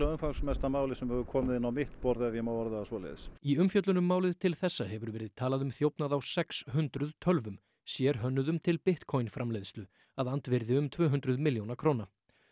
umfangsmesta málið sem hefur komið inn á mitt borð ef ég má orða það svoleiðis í umfjöllun um málið til þessa hefur verið talað um þjófnað á sex hundruð tölvum sérhönnuðum til Bitcoin framleiðslu að andvirði um tvö hundruð milljóna króna